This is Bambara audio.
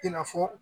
I n'a fɔ